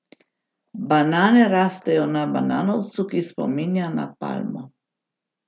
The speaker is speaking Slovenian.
Banane rastejo na bananovcu, ki spominja na palmo.